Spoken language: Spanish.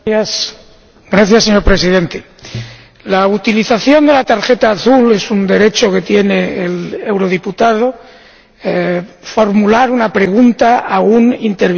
Señor Presidente, la utilización de la tarjeta azul es un derecho que tiene el diputado formular una pregunta a un interviniente anterior.